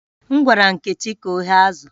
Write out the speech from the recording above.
M gwara Nkechi ka o ghee azụ̀